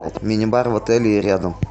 мини бар в отеле и рядом